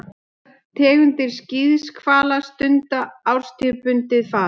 Flestar tegundir skíðishvala stunda árstíðabundið far.